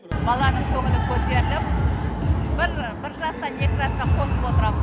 баланың көңілі көтеріліп жастан жасқа қосып отырамыз